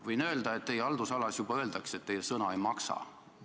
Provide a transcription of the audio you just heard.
Võin öelda, et teie haldusalas juba räägitakse, et teie sõna ei maksa.